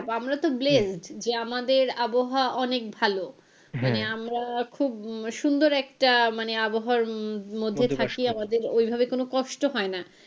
আমরা তো blessed যে আমাদের আবহাওয়া অনেক ভালো মানে আমরা খুব সুন্দর একটা মানে আবহাওয়ার মধ্যে আমাদের ওইভাবে কোনো কষ্ট হয়না।